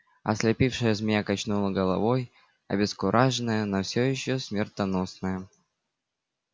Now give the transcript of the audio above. ослепившая змея качнула головой обескураженная но всё ещё смертоносная